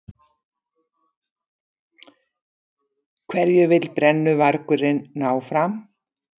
Hverju vill brennuvargurinn ná fram?